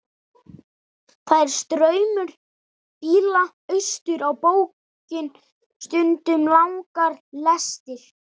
Það er straumur bíla austur á bóginn, stundum langar lestir.